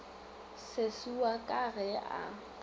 sesi wa ka ge a